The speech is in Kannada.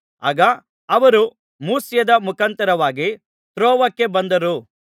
ಆಗ ಅವರು ಮೂಸ್ಯದ ಮುಖಾಂತಾರವಾಗಿ ತ್ರೋವಕ್ಕೆ ಬಂದರು